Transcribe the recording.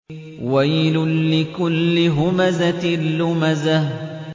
وَيْلٌ لِّكُلِّ هُمَزَةٍ لُّمَزَةٍ